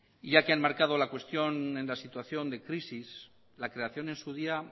ya que han marcado la cuestión en la situación de crisis la creación en su día